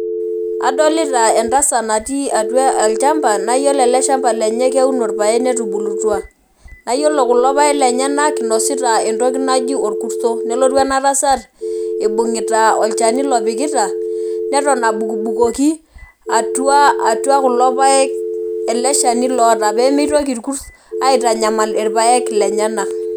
Adolita entasat natii atua olchamba naa yiolo ele shamba lenye keuno irpaek netubulutua naa yiolo kulo paek lenyenak inosita entoki naji orkuto , nelotu ena tasat ibungita olchani lopikita neton abukbukoki atua, atua kulo paek eleshani loota pemitoki irkurt aitanyamal irpaek lenyenak.